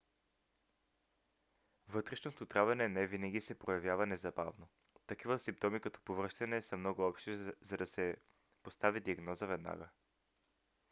вътрешното отравяне не винаги се проявява незабавно. такива симптоми като повръщане са много общи за да се постави диагноза веднага